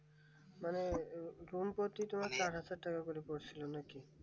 মানে চার হাজার টাকা করে পড়ছিলো নাকি